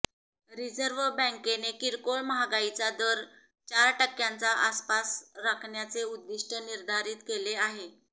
reserve बँकेने किरकोळ महागाईचा दर चार टक्क्यांच्या आसपास राखण्याचे उद्दिष्ट निर्धारित केले आहे